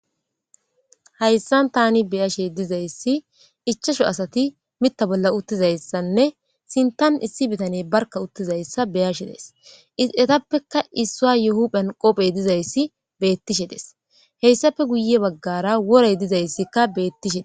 hayssan tani beyashe dizayssi ichasho asati mita bolla uttizayssanne sintan issi bitane barka uttizayssa beyashe days etappeka issua yuhu phen qopphey dizayssi beettishe des heyssape guye baggara worey dizayssikka beettishe